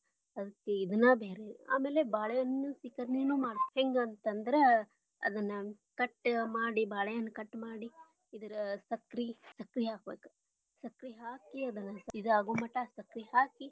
ಅದ್ರ ಇದನ್ನ ಬ್ಯಾರೇರೀ ಆಮೇಲೆ ಬಾಳೆ ಹಣ್ಣ ಸೀಕರ್ಣಿನು ಮಾಡ್ತಾ ಹೆಂಗ ಅಂತಂದ್ರ ಅದನ್ನಾ cut ಮಾಡಿ ಬಾಳೆ ಹಣ್ಣ cut ಮಾಡಿ. ಇದರ ಸಕ್ರಿ ಹಾಕಬೇಕ ಸಕ್ರಿ ಹಾಕಿ ಅದನ್ನ ಇದ ಆಗು ಮಠ ಸಕ್ರಿ ಹಾಕಿ.